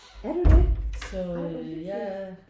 Er du det? Ej hvor hyggeligt